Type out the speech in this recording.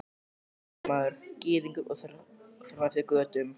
Úkraínumaður, Gyðingur og þar fram eftir götum.